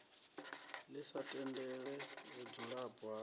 ḽi sa tendele vhudzulapo ha